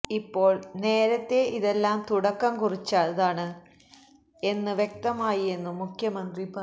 ഇപ്പോള് നേരത്തെ ഇതെല്ലാം തുടക്കം കുറിച്ചതാണ് എന്ന് വ്യക്തമായിയെന്നും മുഖ്യമന്ത്രി പറഞ്ഞു